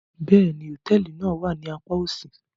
Bẹ́ẹ̀ni, hotẹẹli náa wa ni àpà osi